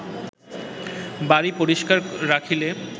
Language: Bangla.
বাড়ী পরিস্কার রাখিলে